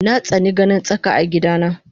Natsani ganin tsaka a gida na